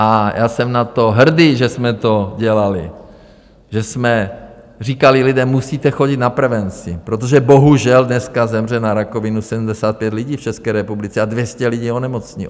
A já jsem na to hrdý, že jsme to dělali, že jsme říkali: Lidé, musíte chodit na prevenci, protože bohužel dneska zemře na rakovinu 75 lidí v České republice a 200 lidí onemocní.